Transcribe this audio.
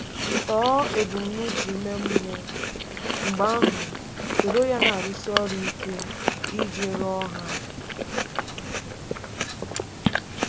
Tọọ ebumnuche ime mmụọ, mgbe ahụ soro ya na-arụsi ọrụ ike iji ruo ha.